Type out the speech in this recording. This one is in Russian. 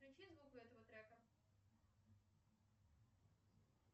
включи звук у этого трека